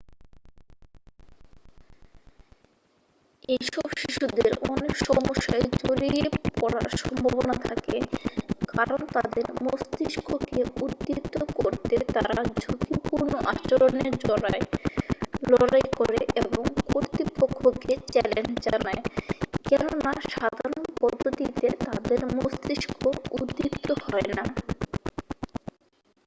"এইসব শিশুদের অনেক সমস্যায় জড়িয়ে পড়ার সম্ভাবনা থাকে কারণ তাদের মস্তিষ্ককে উদ্দীপ্ত করতে তারা "ঝুঁকিপূর্ণ আচরণে জড়ায় লড়াই করে এবং কর্তৃপক্ষকে চ্যালেঞ্জ জানায়" কেননা সাধারণ পদ্ধতিতে তাদের মস্তিষ্ক উদ্দীপ্ত হয় না।